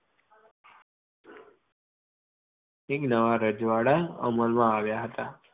અનેક નવા રજવાડા અમલ માં આવ્યા હતા.